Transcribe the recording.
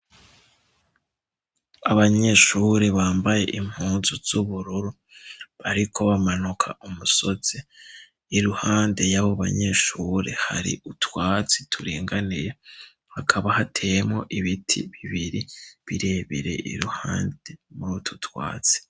abanyeshure bambaye impunzu z'ubururu bariko bamanuka umusozi iruhande y'abo banyeshure hari utwatsi turinganiye hakaba hateyemwo ibiti bibiri birebere iruhande muri ututwatsi